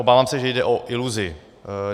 Obávám se, že jde o iluzi.